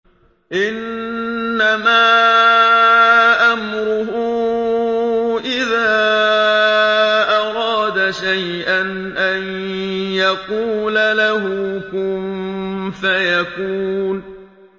إِنَّمَا أَمْرُهُ إِذَا أَرَادَ شَيْئًا أَن يَقُولَ لَهُ كُن فَيَكُونُ